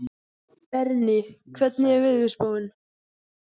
Berni, hvernig er veðurspáin?